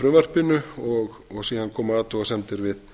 frumvarpinu og síðan koma athugasemdir við